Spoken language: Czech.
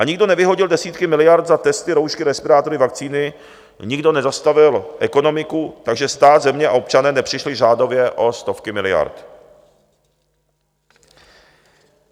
A nikdo nevyhodil desítky miliard za testy, roušky, respirátory, vakcíny, nikdo nezastavil ekonomiku, takže stát, země a občané nepřišli řádově o stovky miliard.